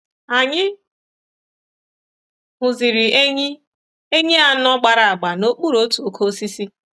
Anyị hụziri enyí enyí anọ gbara agba n’okpuru otu oke osisi.